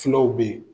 Fulaw be ye